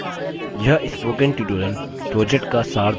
यह spoken tutorial project का सार देता है